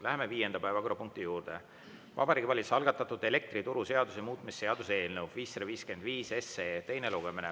Läheme viienda päevakorrapunkti juurde: Vabariigi Valitsuse algatatud elektrituruseaduse muutmise seaduse eelnõu 555 teine lugemine.